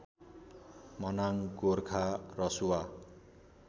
Manang Gorkha Rasuwa